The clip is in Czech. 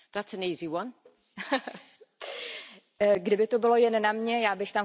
Kdyby to bylo jen na mně, já bych tam chtěla mít jenom občany, chtěla bych tam mít mladé lidi.